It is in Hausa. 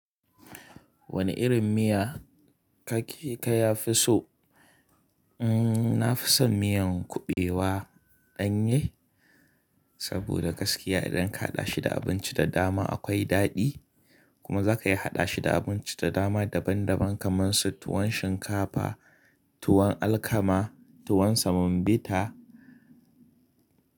Wane irin miya kake ka ya fi so? Mm, na fi so miyan kuɓewa ɗanye saboda gaskiya idan ka haɗa shi da abinci da dama akwai daɗi kuma za ka iya haɗa shi da abinci da dama daban daban kamar su tuwon shinkafa, tuwon alkama, tuwon semovita.